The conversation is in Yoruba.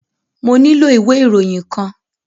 Mo nílò ìwé ìròyìn kan.